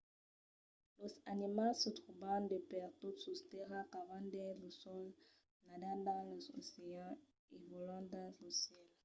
los animals se tròban de pertot sus tèrra. cavan dins lo sòl nadan dins los oceans e vòlan dins lo cèl